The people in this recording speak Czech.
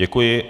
Děkuji.